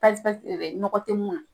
Pasi pasi tɛ dɛ nɔgɔ tɛ mun na.